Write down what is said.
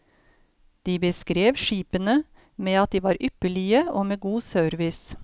De beskrev skipene med at de var ypperlige og med god service.